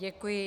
Děkuji.